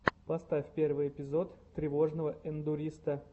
поставь первый эпизод тревожного эндуриста